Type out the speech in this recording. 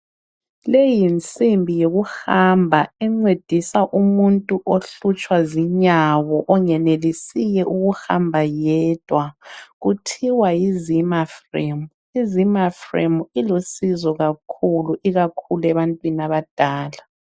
Leyi yinsimbi yokuhamba encedisa umuntu ohlutshwa zinyawo ongenelisiyo ukuhamba yedwa kuthiwa Yi zimafremuizimafremu ilusizo kakhulu ikakhulu ebantwini abadala